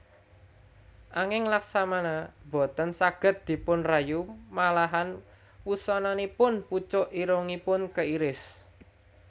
Anging Laksmana boten saged dipunrayu malahan wusananipun pucuk irungipun keiris